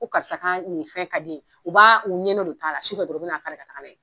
Ko karisa ka nin fɛn ka di yen u b'a u de ta' la su fɛ dɔron u bɛ na'a kari ka taa na ye.